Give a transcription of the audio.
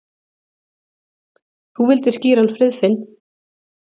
Þú vildir skíra hann Friðfinn.